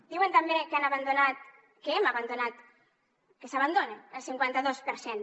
diuen també que hem abandonat que s’abandona el cinquanta dos per cent